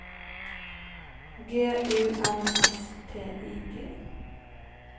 G U N S T I G